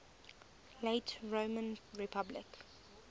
late roman republic